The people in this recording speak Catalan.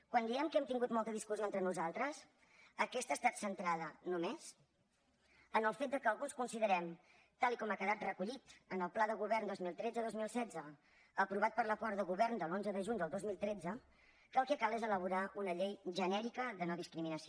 quan diem que hem tingut molta discussió entre nosaltres aquesta ha estat centrada només en el fet que alguns considerem tal com ha quedat recollit en el pla de govern dos mil tretzedos mil setze aprovat per l’acord de govern de l’onze de juny del dos mil tretze que el que cal és elaborar una llei genèrica de nodiscriminació